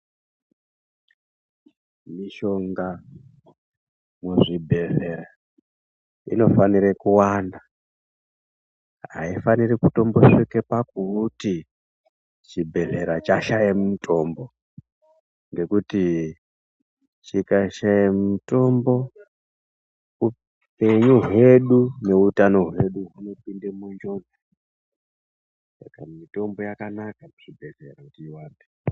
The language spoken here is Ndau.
Mishonga muzvibhedhlera inofanire kuwanda, Aifaniri kutombosvike pakuti chibhedhlera chashaye mutombo, ngekuti chikashaye mitombo upenyu hwedu neutano hwedu hunopinde munjodzi. Saka mitombo yakanaka muchibhedhleya kuti iwande.